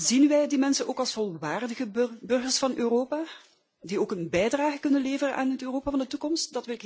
Zien wij die mensen ook als volwaardige burgers van Europa die ook een bijdrage kunnen leveren aan het Europa van de toekomst?